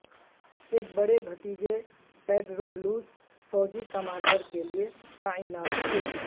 ایک بڑے بھتیجے پیڈرو لوس فوجی کمانڈر کے لئے تعینات تھے